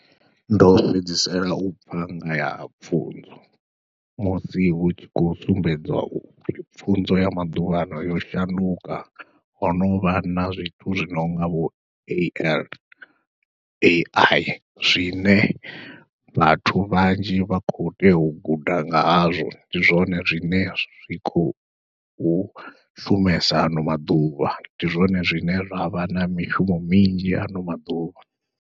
Ndo fhedzisela u pfha nga ya pfhunzo musi hu tshi khou sumbedza upfhi pfhunzo ya maḓuvhano yo shanduka ho novha na zwithu zwi nonga vho AL, Ai zwine vhathu vhanzhi vha kho tea u guda nga hazwo ndi zwone zwine zwi khou u shumesa ano maḓuvha, ndi zwone zwine zwavha na mishumo minzhi ano maḓuvha.